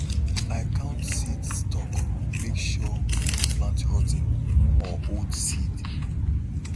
i count seed stock make sure we no plant rot ten or old seed